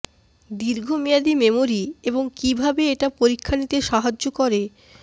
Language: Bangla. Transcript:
দীর্ঘমেয়াদী মেমরি এবং কিভাবে এটা পরীক্ষা নিতে সাহায্য করে